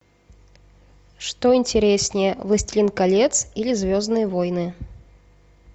что интереснее властелин колец или звездные войны